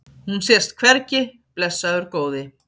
Hún sést hvergi, blessaður góði.